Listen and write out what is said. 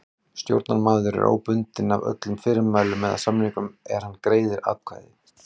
Stjórnarmaður er óbundinn af öllum fyrirmælum eða samningum er hann greiðir atkvæði.